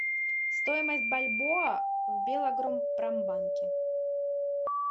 стоимость бальбоа в белагропромбанке